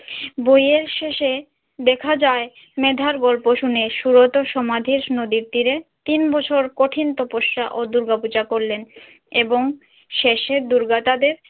বইয়ের শেষে দেখা যায় মেধার গল্প শুনে সুরত সমাধিস নদীর তীরে তিন বছর কঠিন তপস্যা ও দুর্গাপূজা করলেন এবং শেষে দুর্গা তাদের